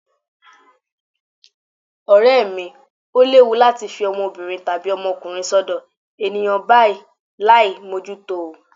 Ọ̀rẹ́ mi, ó léwu láti fi ọmọbìnrin tàbí ọmọkùnrin sọ́dọ̀ ènìyàn báyìí láì mójútó o.